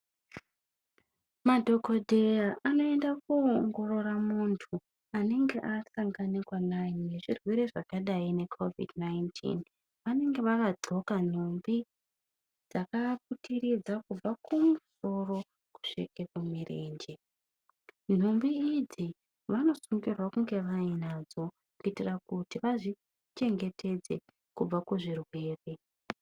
Madhokodheya anoenda kowongorora muntu anenge asangana nezvirwere zvakadai nge kovhidhi 19. Vanenge vakadxoka nhumbi dzakavaputiridza kumba kumusoro kusvika kumirenje. Nhumbi idzi vanosungira kuti vange vainadzo kuitira kuti vazvichengetedze kubva kuzvirwere.